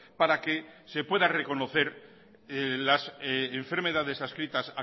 para que se pueda reconocer las enfermedades adscritas